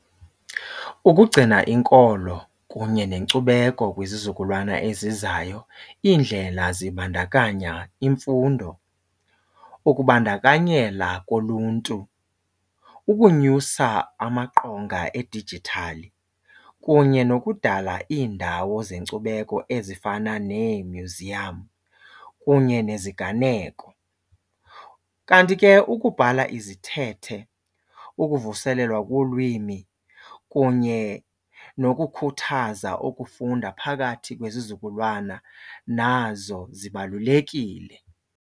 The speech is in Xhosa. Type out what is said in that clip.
Ukugcina inkolo kunye nenkcubeko kwizizukulwana ezizayo iindlela zibandakanya imfundo, ukubandakanyela koluntu, ukunyusa amaqonga edijithali kunye nokudala iindawo zenkcubeko ezifana neemyuziyamu kunye neziganeko. Kanti ke ukubhala izithethe ukuvuselelwa kolwimi kunye nokukhuthaza ukufunda phakathi kwezizukulwana nazo zibalulekile.